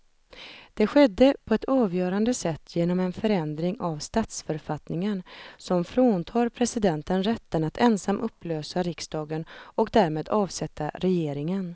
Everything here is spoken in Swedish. Det skedde på ett avgörande sätt genom en förändring av statsförfattningen som fråntar presidenten rätten att ensam upplösa riksdagen och därmed avsätta regeringen.